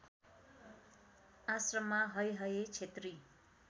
आश्रममा हैहय क्षेत्री